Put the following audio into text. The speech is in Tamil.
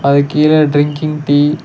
அதுக்கு கீழ டிரிங்கிங் டீ --